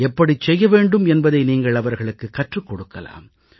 எப்படிச் செய்ய வேண்டும் என்பதை நீங்கள் அவர்களுக்குக் கற்றுக் கொடுக்கலாம்